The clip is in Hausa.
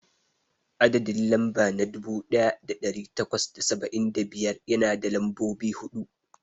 Adadin lamɓa na dubu daya dari takwas da saba'in da biyar yana da lambobi hudu.